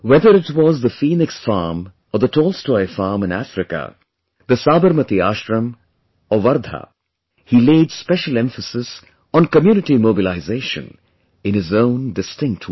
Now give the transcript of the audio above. Whether it was the Phoenix Farm or the Tolstoy Farm in Africa, the Sabarmati Ashram or Wardha, he laid special emphasis on community mobilization in his own distinct way